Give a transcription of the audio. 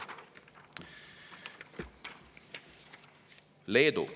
Leedu.